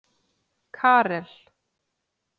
Karel